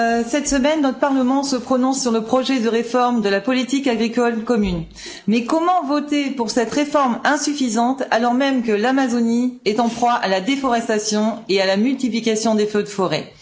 Cette semaine, notre Parlement se prononce sur le projet de réforme de la politique agricole commune, mais comment voter pour cette réforme insuffisante, alors même que l'Amazonie est en proie à la déforestation et à la multiplication des feux de forêt?